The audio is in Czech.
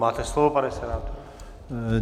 Máte slovo, pane senátore.